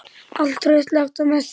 Allt traust lagt á Messi.